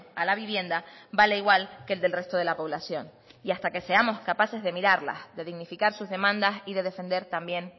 a la vivienda vale igual que el del resto de la población y hasta que seamos capaces de mirarlas de dignificar sus demandas y de defender también